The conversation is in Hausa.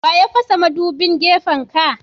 Wa ya fasa madubin gefen ka.?